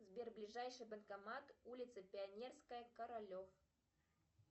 сбер ближайший банкомат улица пионерская королев